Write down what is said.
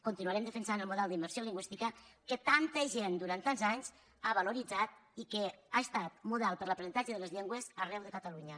continuarem defensant el model d’immersió lingüística que tanta gent durant tants anys ha valoritzat i que ha estat model per a l’aprenentatge de les llengües arreu de catalunya